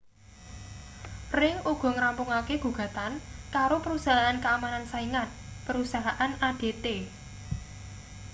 ring uga ngrampungake gugatan karo perusahaan keamanan saingan perusahaan adt